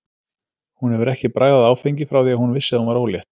Hún hefur ekki bragðað áfengi frá því að hún vissi að hún var ólétt.